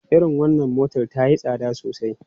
Irin wannan motar ta yi tsada sosai.